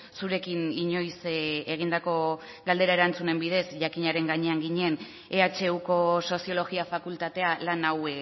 zurekin inoiz egindako galdera erantzunen bidez jakinaren gainean ginen ehuko soziologia fakultatea lan hau